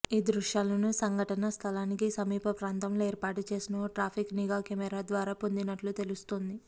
ఈ దృశ్యాలను సంఘటనాస్థలికి సమీప ప్రాంతంలో ఏర్పాటు చేసిన ఓ ట్రాఫిక్ నిఘా కెమెరా ద్వారా పొందినట్లు తెలుస్తోంది